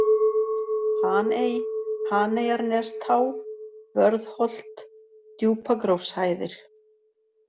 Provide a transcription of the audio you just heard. Haney, Haneyjarnestá, Vörðholt, Djúpagrófshæðir